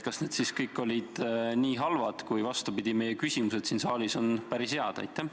Kas need kõik olid siis nii halvad ettepanekud, kuigi meie küsimused, vastupidi, siin saalis on päris head?